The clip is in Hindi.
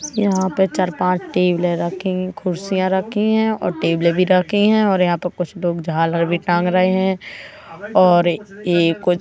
यहाँ पे चार-पाँच टेबलें रखी हैं कुर्सियाँ रखी हैं और टेबलें भी रखी हैं और यहाँ पे कुछ लोग झालर भी टांग रहे हैं और ये कुछ --